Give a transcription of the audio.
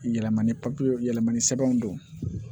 Yɛlɛma ni yɛlɛmani sɛbɛnw don